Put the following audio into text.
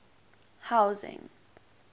housing